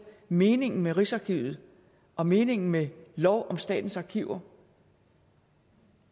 meningen med rigsarkivet og meningen med loven om statens arkiver